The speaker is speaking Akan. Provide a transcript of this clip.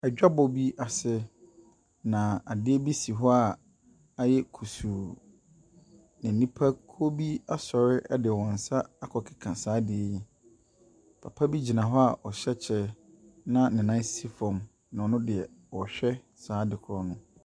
Adwabɔ bi ase, na ade bi si hɔ a ayɛ kusuu, na nnipakuo bi asɔre de wɔn nsa akɔkeka saa adeɛ yi. Papa bi gyina hɔ a ɔhyɛ kyɛ na ne nan si fam, na ɔno deɛ ɔrehwɛ saa adekorɔ no.